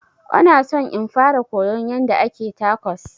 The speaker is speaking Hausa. Ona son in fara koyon yanda ake tacos